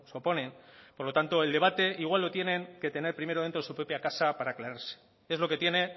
oponen por lo tanto el debate igual lo tienen que tener primero dentro de su propia casa para aclararse es lo que tiene